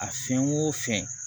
A fɛn o fɛn